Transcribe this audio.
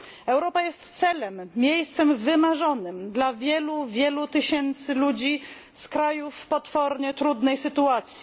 Europa jest celem, miejscem wymarzonym dla wielu, wielu tysięcy ludzi z krajów w potwornie trudnej sytuacji.